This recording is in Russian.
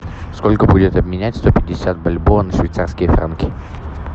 сколько будет обменять сто пятьдесят бальбоа на швейцарские франки